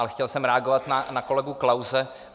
Ale chtěl jsem reagovat na kolegu Klause.